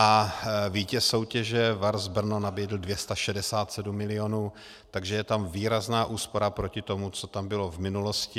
A vítěz soutěže VARS Brno nabídl 267 milionů, takže je tam výrazná úspora proti tomu, co tam bylo v minulosti.